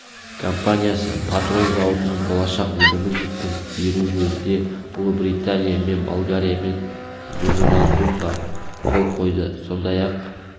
компаниясы патрон зауытының болашақ өнімін жеткізіп беру жөнінде ұлыбритания және болгариямен меморандумға қол қойды сондай-ақ